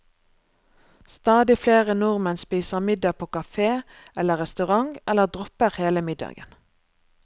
Stadig flere nordmenn spiser middag på kafé eller restaurant, eller dropper hele middagen.